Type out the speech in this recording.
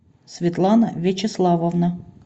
светлана вячеславовна